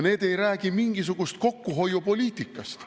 Need ei räägi mingisugusest kokkuhoiupoliitikast.